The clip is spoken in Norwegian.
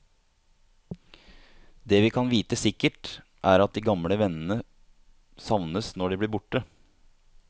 Det vi kan vite sikkert, er at de gamle vennene savnes når de blir borte.